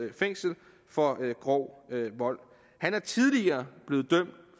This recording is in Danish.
fængsel for grov vold han er tidligere blevet dømt